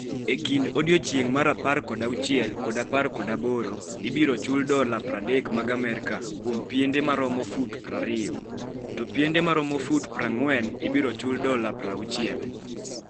E kind odiechieng' mar 16 kod 18, ibiro chul dola 30 mag Amerka kuom piende ma romo fut 20, to piende ma romo fut 40 ibiro chul dola 60.